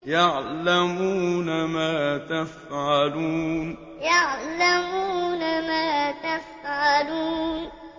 يَعْلَمُونَ مَا تَفْعَلُونَ يَعْلَمُونَ مَا تَفْعَلُونَ